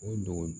O dugu